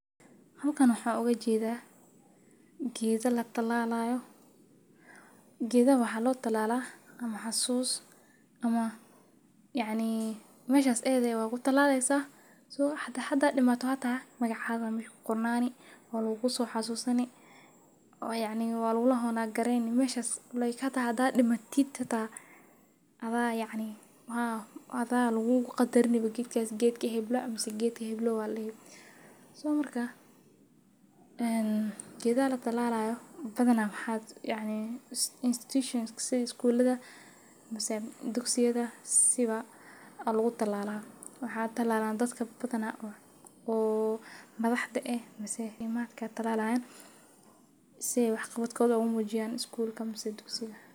Halkan waxan ugujeeda geeda latalalaayo. Gedaha waxa lotalala xasus ama yacni meshas ayada waku talaleysa xita hada dimato magacaagaa aya mesha kuqornani walaguga soxasusani o yacni walgu honor gareyni meshas like xata hada dimatid xata ada laguga qadarini. Gedkas gedki hebla ama geedki heblow a ladihi so marka e geedaha latalalaayo badana maxa institution sida skuulada, Dugsiyada, siba a lagu talala, waxa talaalan dadka badana o madaxda eh siay waxaqabadkoda umujiayan sida skuulka mise.